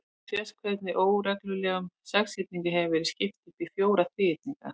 Hér sést hvernig óreglulegum sexhyrningi hefur verið skipt upp í fjóra þríhyrninga.